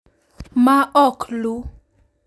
ma ok luw ,